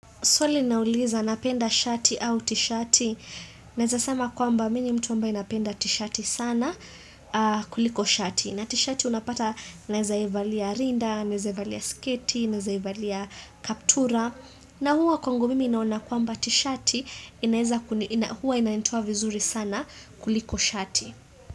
Swali linauliza napenda shati au tishati. Naeza sama kwamba mi ni mtu ambaye napenda tishati sana kuliko shati. Na tishati unapata naeza ivalia rinda, naeza ivalia sketi, naeza ivalia kaptura. Na huwa kwangu mimi naona kwamba tishati, huwa inainitoa vizuri sana kuliko shati.